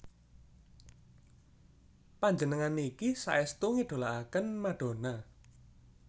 Panjenengan niki saestu ngidolaaken Madonna